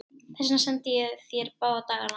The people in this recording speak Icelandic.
Þess vegna sendi ég þér báða dagana.